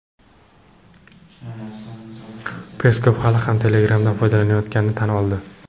Peskov hali ham Telegram’dan foydalanayotganini tan oldi.